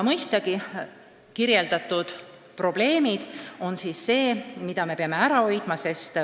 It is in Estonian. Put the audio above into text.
Mõistagi peame katsuma neid probleeme leevendada.